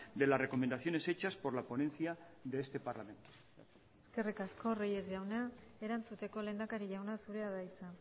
de las recomendaciones hechas por la ponencia de este parlamento eskerrik asko reyes jauna erantzuteko lehendakari jauna zurea da hitza